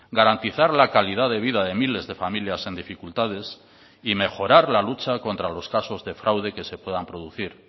garantizar la calidad de vida de miles de familias en dificultades y mejorar la lucha contra los casos de fraude que se puedan producir